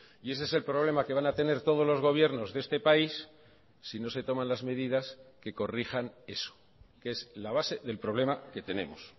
y ese es el problema que van a tener todos los gobiernos de este país si no se toman las medidas que corrijan eso que es la base del problema que tenemos